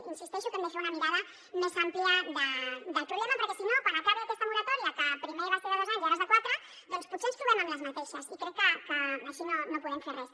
insisteixo que hem de fer una mirada més àmplia del problema perquè si no quan acabi aquesta moratòria que primer va ser de dos anys i ara és de quatre doncs potser ens trobem en la mateixa situació i crec que així no podem fer res